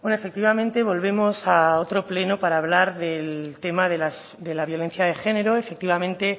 bueno efectivamente volvemos a otro pleno para hablar del tema de la violencia de género efectivamente